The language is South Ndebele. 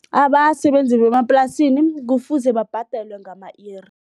Abasebenzi bemaplasini kufuze babhadelwe ngama-iri.